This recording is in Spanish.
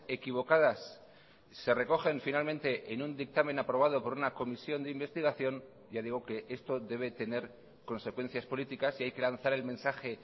equivocadas se recogen finalmente en un dictamen aprobado por una comisión de investigación ya digo que esto debe tener consecuencias políticas y hay que lanzar el mensaje